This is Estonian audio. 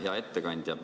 Hea ettekandja!